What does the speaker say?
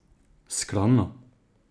Skromno?